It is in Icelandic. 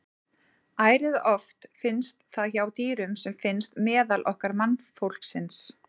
Ærið oft finnst það hjá dýrum sem finnst meðal okkar mannfólksins.